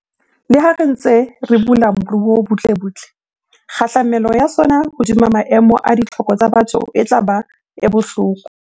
Leha re ntse re bula moruo butlebutle, kgahlamelo ya sona hodima maemo a ditlhoko tsa batho e tla ba e bohloko.